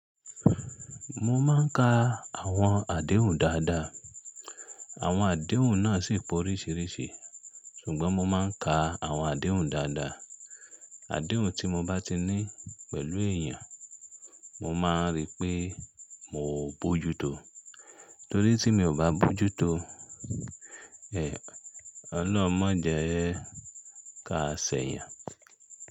Mo máa ń ka àwọn àdéhùn dáadáa. Àwọn àdéhùn náà sì pọ̀ ríṣiríṣi. Ṣùgbọ́n mo máa ń ka àwọn àdéhùn dáadáa. Àdéhùn tí mo bá ti ní pẹ̀lú èèyàn, mo máa ń rí pé mo bojútó torí tí mi ò bá bojútó, oloun mọ jẹẹ́ ká ṣẹ̀yàn.